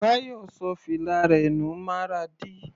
Bayo ṣọ fìlà rẹ̀ nù Maradi.